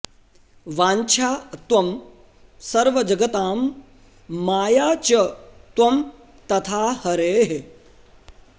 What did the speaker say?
वाञ्छा त्वं सर्वजगतां माया च त्वं तथा हरेः